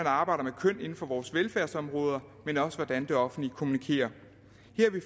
arbejder med køn inden for vores velfærdsområder men også hvordan det offentlige kommunikerer